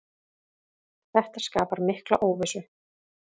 Þetta skapar mikla óvissu.